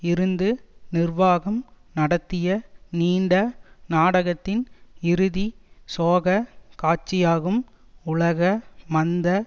இருந்து நிர்வாகம் நடத்திய நீண்ட நாடகத்தின் இறுதி சோகக் காட்சியாகும் உலக மந்த